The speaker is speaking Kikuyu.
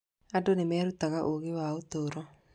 Andũ nĩ merutaga ũũgĩ wa ũtũũro.